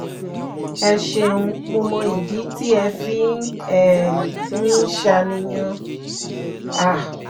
ẹ ṣeun mo mọ ìdí tí ẹ fi um ń ṣàníyàn um